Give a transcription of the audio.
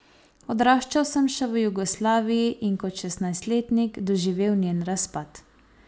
Odraščal sem še v Jugoslaviji in kot šestnajstletnik doživel njen razpad.